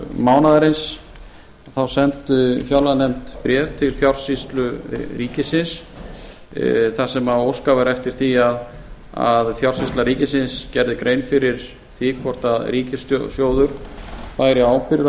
mánaðarins sendi fjárlaganefnd bréf til fjársýslu ríkisins þar sem óskað var eftir því að fjársýsla ríkisins gerði grein fyrir því hvort ríkissjóður bæri ábyrgð